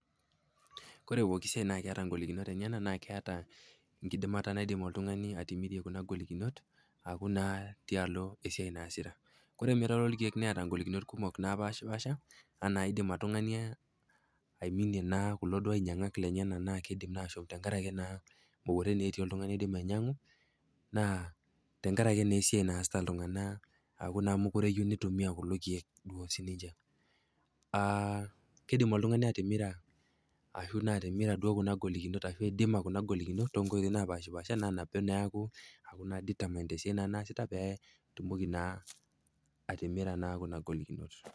Ore pooki siai naa keata ngolikinot enyena naa keata enkidimata naidim oltung'ani atimirie kuna ngolikinot aku naa tialo esiai naasita. Ore emirare olkeek neata ngolikinot kumok naapaashipaasha anaa eidim oltung'ani naa aiminie naa kulo duo ainyang'at lenyena naa keidim ashom tenkarake naa mekure etii oltung'ani oidim ainyang'u naa tenkarake naa esiai naasita iltung'ana tenkarake mekure eyeu neitumia kulo keek duo sininche. Keidim oltung'ani atimira ashu naa atimira kuna ngolikinot ashu naa aidima kuna ngolikinot too nkoitoi napashipaasha naa nabo naa eaku determined tesiai naasita petumoki naa atimira kuna ngolikinot.